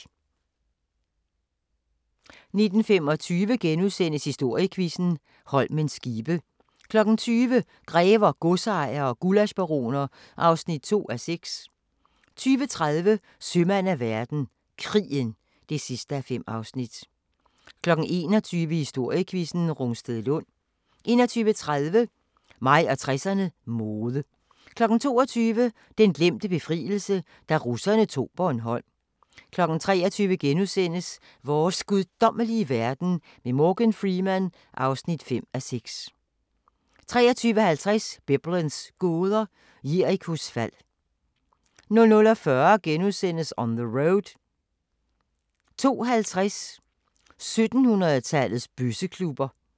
19:25: Historiequizzen: Holmens skibe * 20:00: Grever, godsejere og gullaschbaroner (2:6) 20:30: Sømand af verden – Krigen (5:5) 21:00: Historiequizzen: Rungstedlund 21:30: Mig og 60'erne: Mode 22:00: Den glemte befrielse – da russerne tog Bornholm 23:00: Vores guddommelige verden med Morgan Freeman (5:6)* 23:50: Biblens gåder – Jerikos fald 00:40: On the Road * 02:50: 1700-tallets bøsseklubber